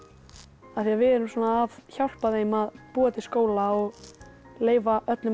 af því við erum að hjálpa þeim að búa til skóla og leyfa öllum að fá